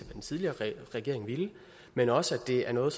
den tidligere regering ville men også at det er noget